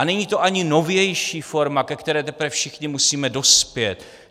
A není to ani novější forma, ke které teprve všichni musíme dospět.